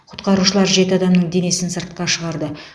құтқарушылар жеті адамның денесін сыртқа шығарды